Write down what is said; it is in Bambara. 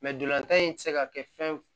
ntolatan in tɛ se ka kɛ fɛn